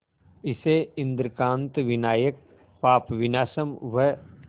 इसे इंद्रकांत विनायक पापविनाशम व